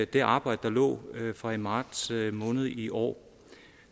det arbejde der lå fra i marts måned i år